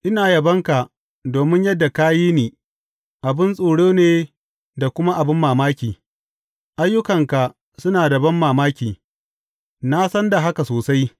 Ina yabonka domin yadda ka yi ni abin tsoro ne da kuma abin mamaki; ayyukanka suna da banmamaki, na san da haka sosai.